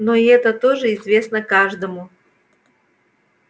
но и это тоже известно каждому